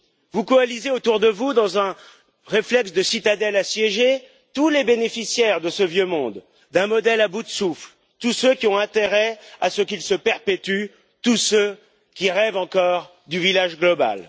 Vous coalisez autour de vous, dans un réflexe de citadelle assiégée, tous les bénéficiaires de ce vieux monde, d'un modèle à bout de souffle, tous ceux qui ont intérêt à ce qu'il se perpétue, tous ceux qui rêvent encore du village global.